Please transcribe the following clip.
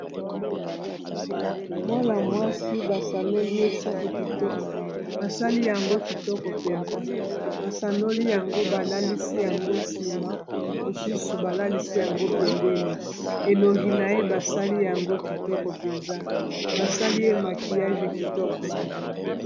mwana-mwasi basanoli esuki kitoko basali yango kitoko mpenza basanoli yango balalisi yango nsima mosusu balalisi yango pembeni elongi na ye basali yango kitoko mpenza basali ye makiyage kitoko